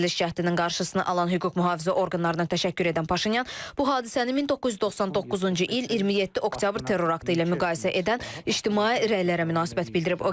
Çevriliş cəhdinin qarşısını alan hüquq mühafizə orqanlarına təşəkkür edən Paşinyan bu hadisəni 1999-cu il 27 oktyabr terror aktı ilə müqayisə edən ictimai rəylərə münasibət bildirib.